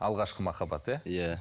алғашқы махаббат иә иә